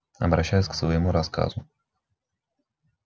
обращаюсь к своему рассказу